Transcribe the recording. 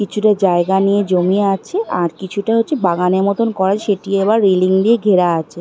কিছুটা জায়গা নিয়ে জমি আছে আর কিছুটা হচ্ছে বাগানের মত করা সেটি আবার রেলিং দিয়ে ঘেরা আছে।